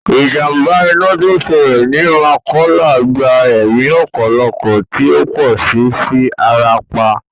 Ìjàmbá iná tó ṣẹlẹ̀ ni Mọ́kọ́lá gba ẹ̀mí ọ̀pọ̀lọpọ̀ tí ọ̀pọ̀ sì fi ara pa